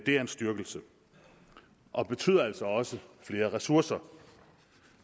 er en styrkelse og betyder altså også flere ressourcer